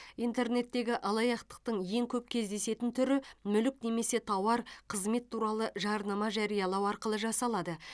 интернеттегі алаяқтықтың ең көп кездесетін түрі мүлік немесе тауар қызмет туралы жарнама жариялау арқылы жасалады